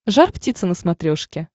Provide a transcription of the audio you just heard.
жар птица на смотрешке